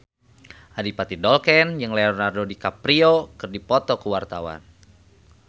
Adipati Dolken jeung Leonardo DiCaprio keur dipoto ku wartawan